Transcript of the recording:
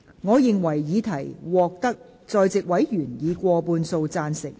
我認為議題獲得在席委員以過半數贊成。